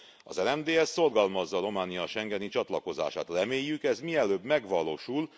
Az RMDSZ szorgalmazza Románia schengeni csatlakozását, reméljük, ez mielőbb megvalósul.